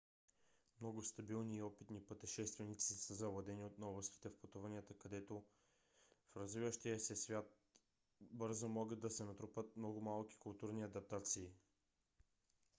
много стабилни и опитни пътешественици са завладени от новостите в пътуванията в развиващия се свят където бързо могат да се натрупат много малки културни адаптации